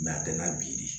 a tɛ na bi de